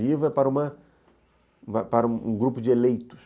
Livro é para uma, para um grupo de eleitos.